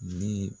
Ni